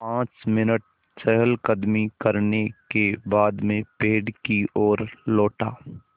पाँच मिनट चहलकदमी करने के बाद मैं पेड़ की ओर लौटा